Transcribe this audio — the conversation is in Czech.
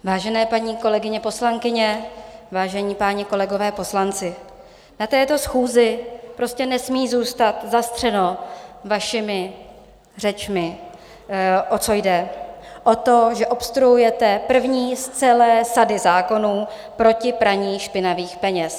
Vážené paní kolegyně poslankyně, vážení páni kolegové poslanci, na této schůzi prostě nesmí zůstat zastřeno vašimi řečmi, o co jde, o to, že obstruujete první z celé sady zákonů proti praní špinavých peněz.